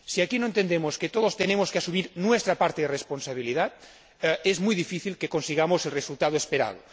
Si aquí no entendemos que todos tenemos que asumir nuestra parte de responsabilidad, es muy difícil que consigamos el resultado esperado.